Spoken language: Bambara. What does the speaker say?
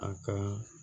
A ka